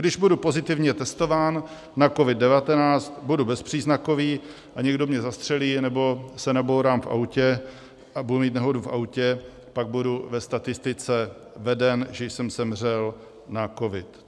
Když budu pozitivně testován na COVID-19, budu bezpříznakový a někdo mě zastřelí anebo se nabourám v autě, budu mít nehodu v autě, pak budu ve statistice veden, že jsem zemřel na covid.